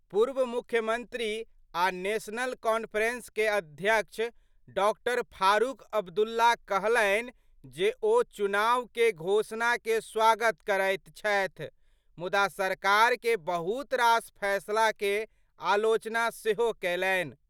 पूर्व मुख्यमंत्री और नेशनल कॉन्फ्रेंस के अध्यक्ष डॉ. फारूक अब्दुल्ला कहलनि जे, ओ चुनाव के घोषणा के स्वागत करैत छथि, मुदा सरकार के बहुत रास फैसला के आलोचना सेहो केलनि।